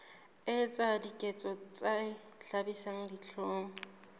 etsa diketso tse hlabisang dihlong